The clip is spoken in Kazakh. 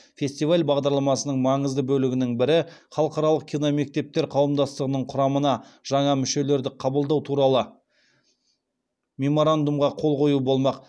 фестиваль бағдарламасының маңызды бөлігінің бірі халықаралық киномектептер қауымдастығының құрамына жаңа мүшелерді қабылдау туралы меморандумға қол қою болмақ